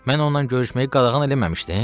Mən ona görüşməyi qadağan eləməmişdim.